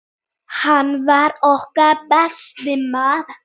Hann var okkar besti maður.